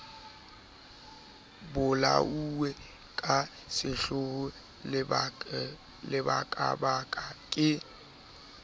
bolauwe ka sehloho lebakabaka ke